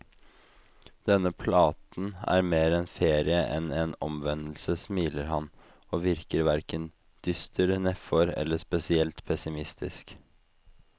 Denne platen er mer en ferie enn en omvendelse, smiler han, og virker hverken dyster, nedfor eller spesielt pessimistisk.